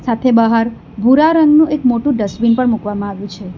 સાથે બહાર ભૂરા રંગનું એક મોટું ડસ્ટબીન પણ મૂકવામાં આવ્યું છે.